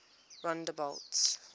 rondebult